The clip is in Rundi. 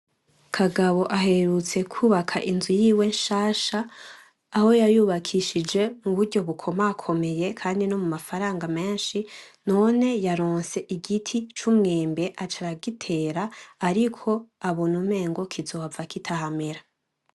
Kagabo aherutse kubaka inzu yiwe nshasha ,aho yayubakishije mu buryo bukomakomeye kandi no mumafaranga menshi, none yaronse igiti c'umwembe aca aragitera ariko abona umengo kizohava kitahamera.